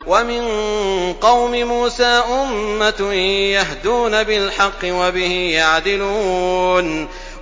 وَمِن قَوْمِ مُوسَىٰ أُمَّةٌ يَهْدُونَ بِالْحَقِّ وَبِهِ يَعْدِلُونَ